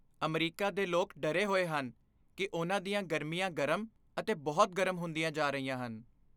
America ਦੇ ਲੋਕ ਡਰੇ ਹੋਏ ਹਨ ਕਿ ਉਨ੍ਹਾਂ ਦੀਆਂ ਗਰਮੀਆਂ ਗਰਮ ਅਤੇ ਬਹੁਤ ਗਰਮ ਹੁੰਦੀਆਂ ਜਾ ਰਹੀਆਂ ਹਨ।